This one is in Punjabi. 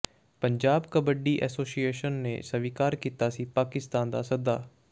ਪੰਜਾਬ ਕਬੱਡੀ ਐਸੋਸੀਏਸ਼ਨ ਨੇ ਸਵੀਕਾਰ ਕੀਤਾ ਸੀ ਪਾਕਿਸਤਾਨ ਦਾ ਸੱਦਾ